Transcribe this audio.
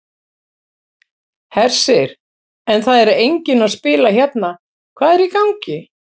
Hersir: En það er enginn að spila hérna, hvað er í gangi?